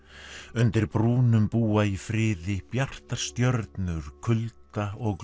undir brúnum búa í friði bjartar stjörnur kulda og